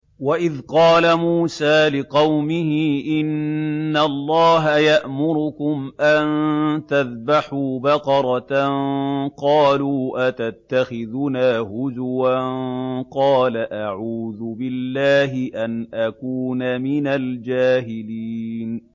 وَإِذْ قَالَ مُوسَىٰ لِقَوْمِهِ إِنَّ اللَّهَ يَأْمُرُكُمْ أَن تَذْبَحُوا بَقَرَةً ۖ قَالُوا أَتَتَّخِذُنَا هُزُوًا ۖ قَالَ أَعُوذُ بِاللَّهِ أَنْ أَكُونَ مِنَ الْجَاهِلِينَ